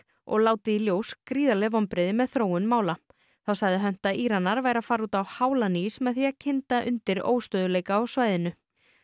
og látið í ljós gríðarleg vonbrigði með þróun mála þá sagði Hunt að Íranar væru að fara út á hálan ís með því að kynda undir óstöðugleika á svæðinu